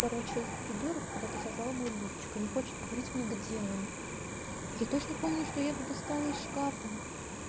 короче этот придурок куда-то зажал мой лифчик и не хочет говорить мне где он я точно помню что я его достала из шкафа